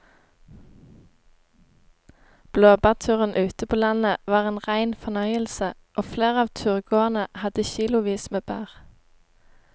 Blåbærturen ute på landet var en rein fornøyelse og flere av turgåerene hadde kilosvis med bær.